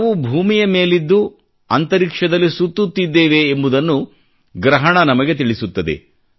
ನಾವು ಭೂಮಿಯ ಮೇಲಿದ್ದು ಅಂತರಿಕ್ಷದಲ್ಲಿ ಸುತ್ತುತ್ತಿದ್ದೇವೆ ಎಂಬುದನ್ನು ಗ್ರಹಣ ನಮಗೆ ತಿಳಿಸುತ್ತದೆ